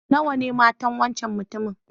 Nawa ne matan wancan mutumin?